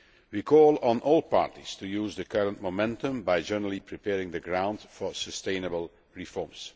We call on all parties to use the current momentum by generally preparing the ground for sustainable reforms.